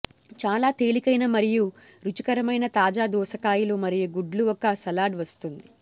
చాలా తేలికైన మరియు రుచికరమైన తాజా దోసకాయలు మరియు గుడ్లు ఒక సలాడ్ వస్తుంది